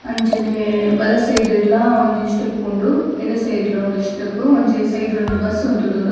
ಅಂಚನೆ ಬಲ ಸೈಡ್ಲ ಒಂಜಿ ಸ್ಟೆಪ್ಪ್ ಉಂಡು ಎಡ ಸೈಡ್ಲ ಒಂಜಿ ಸ್ಟೆಪ್ಪ್ ಒಂಜಿ ಸೈಡ್ ಡೊಂಜಿ ಬಸ್ಸ್ ಉಂತುದುಂಡು.